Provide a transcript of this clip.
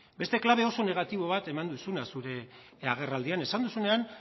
beste klabe oso negatibo bat eman duzu zure agerraldian esan duzunean